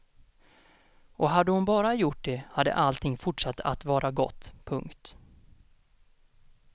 Och hade hon bara gjort det hade allting fortsatt att vara gott. punkt